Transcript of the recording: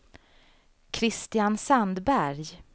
Christian Sandberg